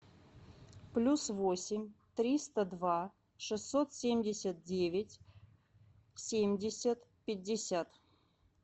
плюс восемь триста два шестьсот семьдесят девять семьдесят пятьдесят